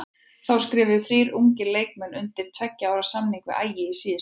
Þá skrifuðu þrír ungir leikmenn undir tveggja ára samning við Ægi í síðustu viku.